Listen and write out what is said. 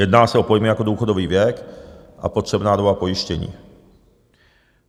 Jedná se o pojmy jako důchodový věk a potřebná doba pojištění.